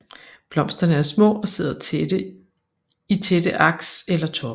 Blomsterne er små og sidder i tætte aks eller toppe